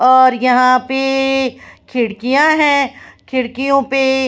और यहाँ पे ए ए खिड़कियाँ हैं खिडकियों पे--